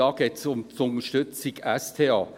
geht es um die Unterstützung der SDA.